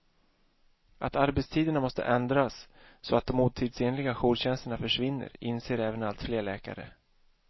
Att arbetstiderna måste ändras, så att de otidsenliga jourtjänsterna försvinner, inser även allt fler läkare.